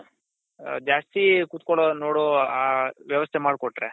ಜಾಸ್ತಿ ಕೂತ್ಕೊಳ್ಳೋ ನೋಡೋ ಆ ವ್ಯವಸ್ಥೆ ಮಾಡ್ಕೊಟ್ರೆ